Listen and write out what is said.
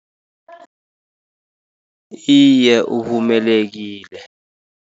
Iye, uvumelekile.